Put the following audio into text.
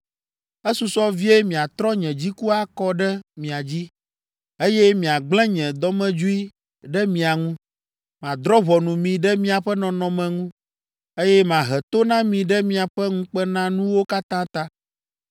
Esusɔ vie matrɔ nye dziku akɔ ɖe mia dzi, eye magblẽ nye dɔmedzoe ɖe mia ŋu. Madrɔ̃ ʋɔnu mi ɖe miaƒe nɔnɔme ŋu, eye mahe to na mi ɖe miaƒe ŋukpenanuwo katã ta.